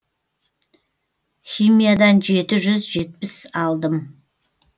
химиядан жеті жүз жетпіс алдым